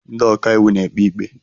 Ndị ọkaiwu na-ekpe ikpe.